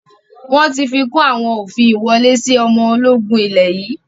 Wọn tí fikùn àwọn òfin ìwọlé sì ọmọ ológun ilẹ̀ yii